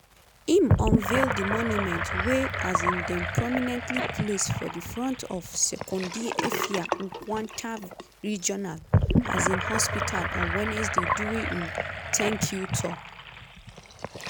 im unveil di monument wey um dem prominently place for di front of sekondi effia-nkwanta regional um hospital on wednesday during im "tank-you tour".